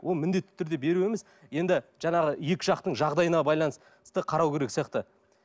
ол міндетті түрде беру емес енді жаңағы екі жақтың жағдайына байланысты қарау керек сияқты